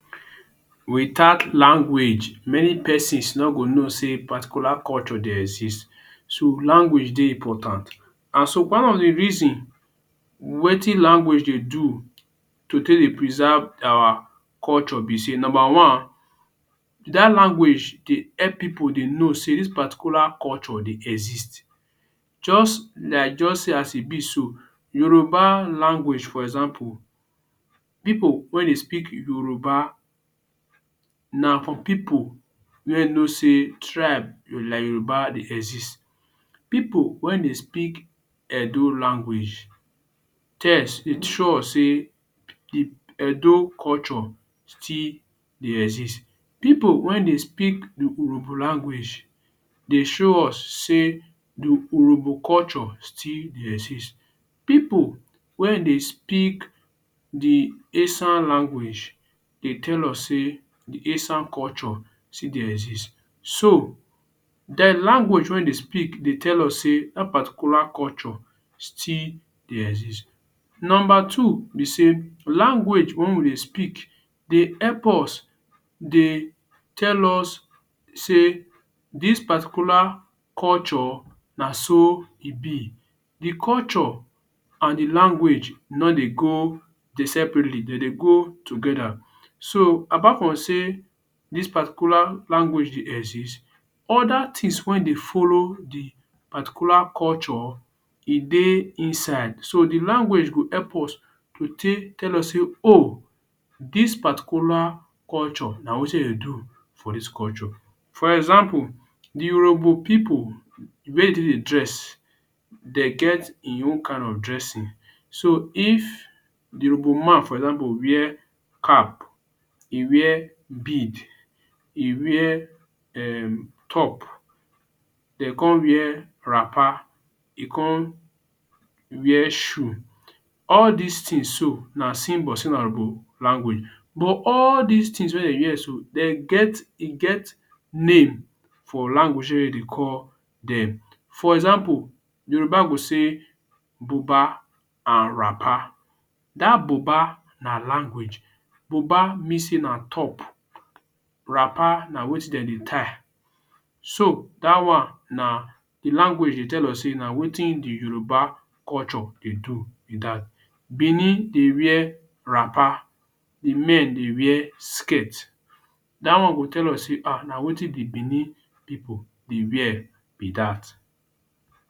Without language many persons no go know sey particular culture dey exist. So language dey important and so one of de reason wetin language dey do to take dey preserve our culture be sey; number one, dat language dey help pipu dey know sey dis particular culture dey exist just like just say as e be so. Yoruba language for example pipu wey dey speak Yoruba, na for pipu wey know sey tribe like Yoruba dey exist. Pipu wey den speak Edo language, sure sey de Edo culture still dey exist. Pipu wen dey speak Urhobo language, dey show us sey de Urhobo culture still dey exist. Pipu wen dey speak de Esan language, dey tell us sey de Esan culture still dey exist. So dem language wen dem speak dey tell us sey dat particular culture still dey exist. Number two be say language wey wen dey speak dey help us dey tell us sey dis particular culture na so e be, de culture and de language no dey go de separately, dem dey go together. So apart from say dis particular language dey exist other things wey dey follow de particular culture, e dey inside, So de language go help us take tell us say “ooh dis particular culture na wetin dem dey do for dis culture”. For example de Urhobo pipu e get d way dey take dey dress, dey get im own kind of dressing. So if de Urhobo man for example wear cap, e wear bead, e wear um top then come wear wrapper, e come wear shoe; all these things so, na symbol sey na Urhobo language but all these things wey dey wear so, den get e get name for language wey dem dey call dem. For example Yoruba go say; buba and wrapper. Dat buba na language, buba mean say na top, wrapper na wetin dem dey tie so dat one na de language dey tell us say na wetin de Yoruba culture dey do be dat. Benin dey wear wrapper, de men dey wear skirt, dat one go dey tell us sey [um]na wetin de benin pipu dey wear be dat.